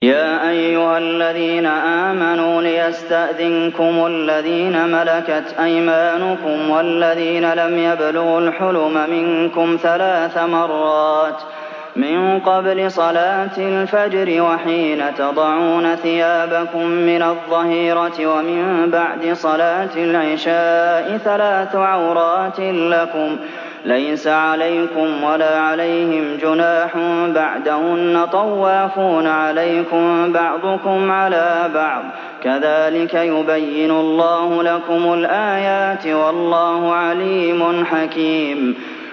يَا أَيُّهَا الَّذِينَ آمَنُوا لِيَسْتَأْذِنكُمُ الَّذِينَ مَلَكَتْ أَيْمَانُكُمْ وَالَّذِينَ لَمْ يَبْلُغُوا الْحُلُمَ مِنكُمْ ثَلَاثَ مَرَّاتٍ ۚ مِّن قَبْلِ صَلَاةِ الْفَجْرِ وَحِينَ تَضَعُونَ ثِيَابَكُم مِّنَ الظَّهِيرَةِ وَمِن بَعْدِ صَلَاةِ الْعِشَاءِ ۚ ثَلَاثُ عَوْرَاتٍ لَّكُمْ ۚ لَيْسَ عَلَيْكُمْ وَلَا عَلَيْهِمْ جُنَاحٌ بَعْدَهُنَّ ۚ طَوَّافُونَ عَلَيْكُم بَعْضُكُمْ عَلَىٰ بَعْضٍ ۚ كَذَٰلِكَ يُبَيِّنُ اللَّهُ لَكُمُ الْآيَاتِ ۗ وَاللَّهُ عَلِيمٌ حَكِيمٌ